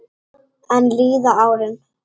Enn líða árin.